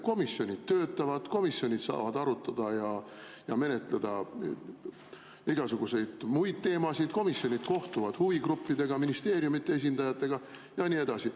Komisjonid töötavad, komisjonid saavad arutada ja menetleda igasuguseid muid teemasid, komisjonid kohtuvad huvigruppidega, ministeeriumide esindajatega ja nii edasi.